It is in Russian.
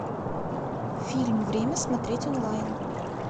фильм время смотреть онлайн